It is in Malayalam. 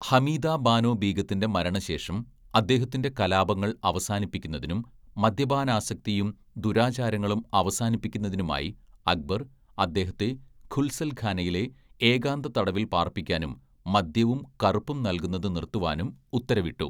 ഹമീദാ ബാനോ ബീഗത്തിൻ്റെ മരണശേഷം, അദ്ദേഹത്തിൻ്റെ കലാപങ്ങൾ അവസാനിപ്പിക്കുന്നതിനും മദ്യപാനാസക്തിയും ദുരാചാരങ്ങളും അവസാനിപ്പിക്കുന്നതിനുമായി അക്ബർ അദ്ദേഹത്തെ ഘുസൽഖാനയിൽ ഏകാന്തതടവിൽ പാർപ്പിക്കാനും മദ്യവും കറുപ്പും നൽകുന്നത് നിർത്തുവാനും ഉത്തരവിട്ടു.